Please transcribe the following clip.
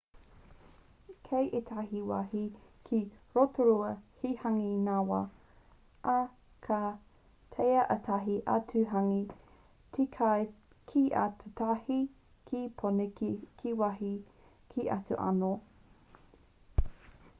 kei ētahi wāhi ki rotorua he hāngī ngāwhā ā ka taea ētahi atu hāngī te kai ki ōtautahi ki pōneke ki wāhi kē atu anō